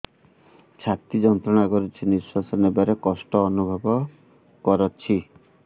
ଛାତି ଯନ୍ତ୍ରଣା କରୁଛି ନିଶ୍ୱାସ ନେବାରେ କଷ୍ଟ ଅନୁଭବ କରୁଛି